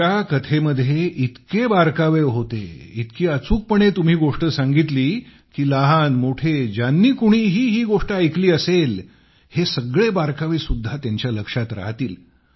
तुमच्या कथेमध्ये इतके बारकावे होते इतकी अचूकपणे तुम्ही गोष्ट सांगितली की लहानमोठे ज्यांनी कोणी ही गोष्ट ऐकली असेल हे सगळे बारकावे सुद्धा त्यांच्या लक्षात राहतील